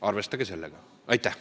Arvestage sellega!